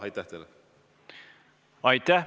Aitäh!